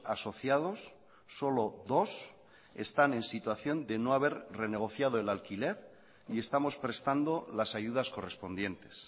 asociados solo dos están en situación de no haber renegociado el alquiler y estamos prestando las ayudas correspondientes